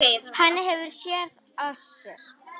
Hann hefur SÉÐ AÐ SÉR.